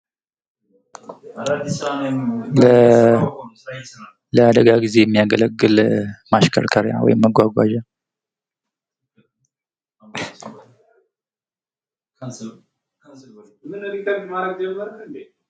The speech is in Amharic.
ለአደጋ ጊዜ የሚያገለግል ማሽከርከሪያ ወይም መጓጓዣ